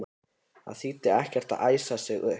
Það þýddi ekkert að æsa sig upp.